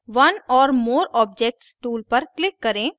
select one or more objects tool पर click करें